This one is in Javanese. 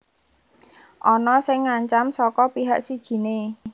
Ana sing ngancam saka pihak sijiné